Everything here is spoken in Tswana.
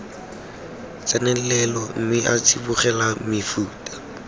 tsenelelo mme a tsibogela mefuta